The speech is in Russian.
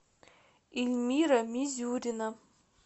эльмира мизюрина